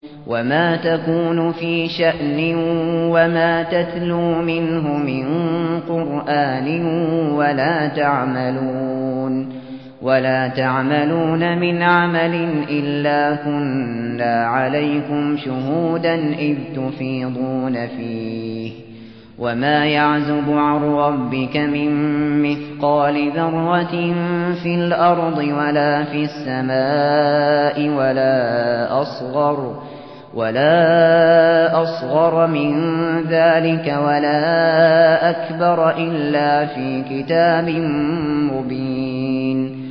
وَمَا تَكُونُ فِي شَأْنٍ وَمَا تَتْلُو مِنْهُ مِن قُرْآنٍ وَلَا تَعْمَلُونَ مِنْ عَمَلٍ إِلَّا كُنَّا عَلَيْكُمْ شُهُودًا إِذْ تُفِيضُونَ فِيهِ ۚ وَمَا يَعْزُبُ عَن رَّبِّكَ مِن مِّثْقَالِ ذَرَّةٍ فِي الْأَرْضِ وَلَا فِي السَّمَاءِ وَلَا أَصْغَرَ مِن ذَٰلِكَ وَلَا أَكْبَرَ إِلَّا فِي كِتَابٍ مُّبِينٍ